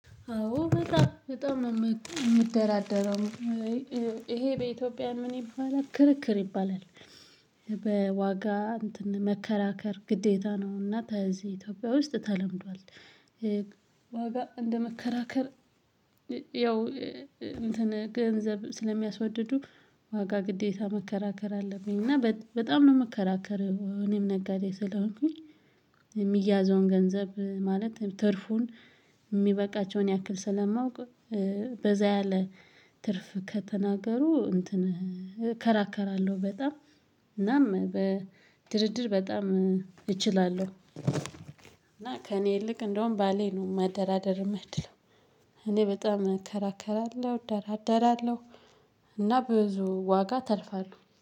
አዎ በጣም በጣም ነው የሚደራደረው ይሄ በኢትዮጵያ ምን ይባላል ክርክር ይባላል። በዋጋ እንትን መከራከር ግዴታ ነው። እና እዚህ ኢትዮጵያ ውስጥ ተለምዷል። ዋጋ እንደ መከራከር ያው እንትን ገንዘብ ስለሚያስወድዱ ዋጋ ግዴታ መከራከር አለብኝ እና በጣም ነው የምከራከረው እኔም ነጋዴ ስለሆንኩኝ የሚያዘውን ገንዘብ ማለት ትርፉን የሚበቃቸውን ያክል ስለማውቅ በዛ ያለ ትርፍ ከተናገሩ እንትን እከራከራለሁ በጣም እናም በድርድር በጣም እችላለሁ እና ከእኔ ይልቅ እንደውም ባሌ ነው ማደራደር የማይችለው እኔ በጣም እከራከራለሁ እደራደራለሁ። ብዙ ዋጋ አተርፋለሁ